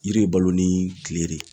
Yiri bɛ balo ni kile de ye.